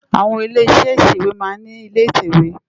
Awòn ilé iṣè iṣéwé má n ni ilé itèwé